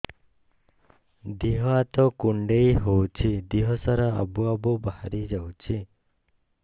ଦିହ ହାତ କୁଣ୍ଡେଇ ହଉଛି ଦିହ ସାରା ଆବୁ ଆବୁ ବାହାରି ଯାଉଛି